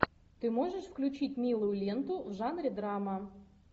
ты можешь включить милую ленту в жанре драма